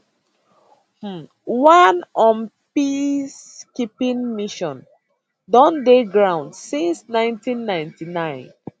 um one un peacekeeping mission don dey ground since 1999